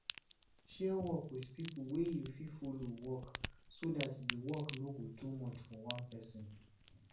share work with pipo wey you fit follow work so dat di work no go too much for one person